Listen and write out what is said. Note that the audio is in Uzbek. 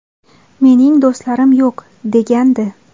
Mening do‘stlarim yo‘q”, – degandi.